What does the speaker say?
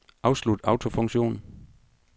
Afslut autofunktion.